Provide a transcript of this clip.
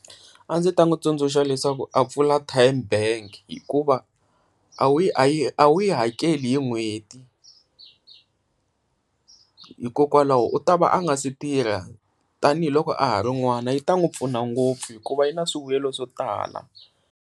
A ndzi ta n'wi tsundzuxa leswaku a pfula TymeBank hikuva a wu a yi a wu yi hi n'hweti, hikokwalaho u ta va a nga se tirha tanihiloko a ha ri n'wana yi ta n'wi pfuna ngopfu hikuva yi na swivuyelo swo tala.